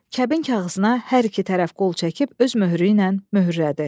Kəbin kağızına hər iki tərəf qol çəkib öz möhrü ilə möhürlədi.